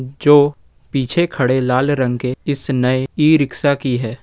जो पीछे खड़े लाल रंग के इस नए ई रिक्शा की है।